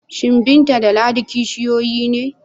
Shin Binta da Ladi kishiyoyi ne?